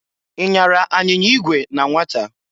I nyara anyinya igwe na nwata?